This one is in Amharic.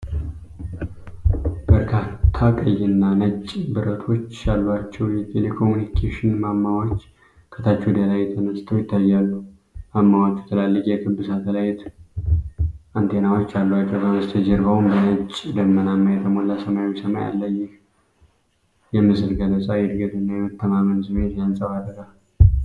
በርካታ ቀይና ነጭ ብረቶች ያሏቸው የቴሌኮምኒኬሽን ማማዎች ከታች ወደ ላይ ተነስተው ይታያሉ። ማማዎቹ ትላልቅ የክብ ሳተላይት አንቴናዎች አሏቸው፤ ከበስተጀርባውም በነጭ ደመናዎች የተሞላ ሰማያዊ ሰማይ አለ። ይህ የምስል ገለጻ የእድገትንና የመተማመንን ስሜት ያንጸባርቃል።